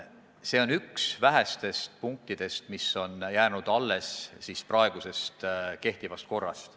See on üks vähestest punktidest, mis on kehtivast korrast alles jäänud.